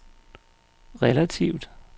relativt